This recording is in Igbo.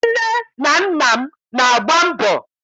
Nne na nna m na-agba mbọ.